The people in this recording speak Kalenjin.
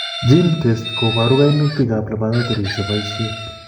GeneTests koboru kainutik ab laboratories cheboisie